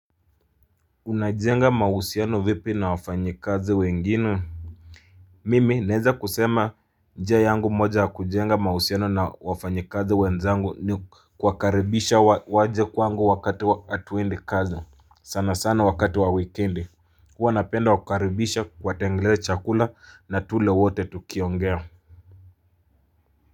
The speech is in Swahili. Unajenga mahusiano vipi na wafanyikazi wengine Mimi naeza kusema njia yangu moja ya kujenga mahusiano na wafanyikazi wenzangu ni kuwakaribisha waje kwangu wakati wa hatuendi kazi sana sana wakati wa wikendi Hua napenda kuwakaribisha kuwatengenezea chakula na tule wote tukiongea.